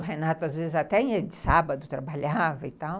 O Renato, às vezes, até dia de sábado trabalhava e tal.